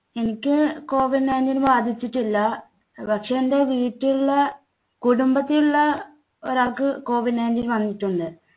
എനിക്ക് COVID nineteen ബാധിച്ചിട്ടില്ല. പക്ഷേ എൻടെ വീട്ടിലുള്ള കുടുംബത്തിലുള്ള ഒരാൾക്ക് COVID nineteen വന്നിട്ടുണ്ട്.